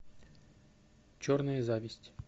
черная зависть